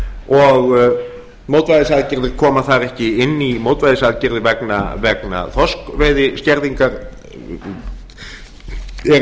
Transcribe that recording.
og mótvægisaðgerðir koma þar ekki inn í mótvægisaðgerðir vegna þorskveiðiskerðingar eru eins og